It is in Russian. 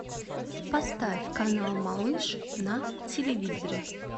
поставь канал малыш на телевизоре